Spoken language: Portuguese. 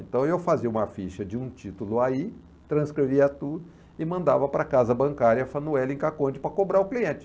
Então, eu fazia uma ficha de um título aí, transcrevia tudo e mandava para a casa bancária, Fanuele Caconde, para cobrar o cliente.